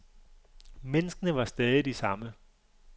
Menneskene var stadig de samme.